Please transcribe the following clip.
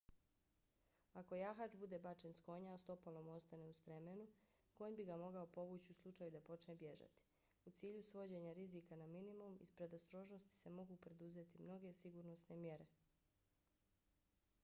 ako jahač bude bačen s konja a stopalo mu ostane u stremenu konj bi ga mogao povući u slučaju da počne bježati. u cilju svođenja rizika na minimum iz predostrožnosti se mogu preduzeti mnoge sigurnosne mjere